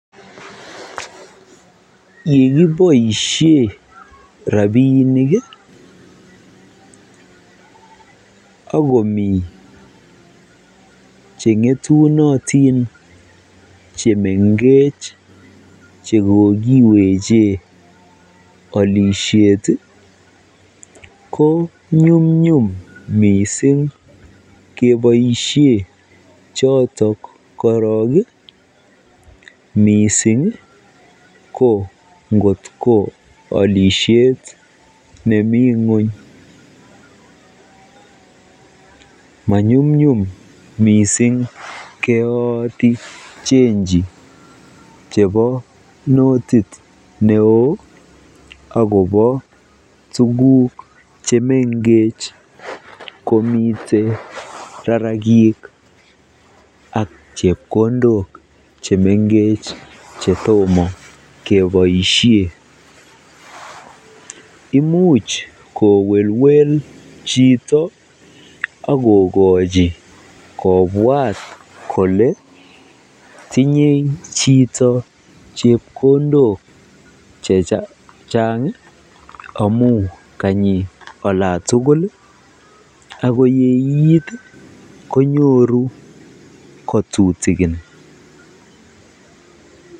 Yekiboishen rabinik ak komii chengetunotin chemengech chekokiweche olishet ko nyumnyum mising keboishen chotok korong mising ko ngotko olishet nemii ngweny, manyumnyum missing keyooti chenji chebo notit neoo akobo tukuk chemengech komite rarakik ak chepkondok chemengech chetomo keboishen imuch kowelwel chito ak kokochi kobwat kolee tinye chito chepkondok chechang amun kanyi olantukul ak ko yeiit konyoru kotutukin.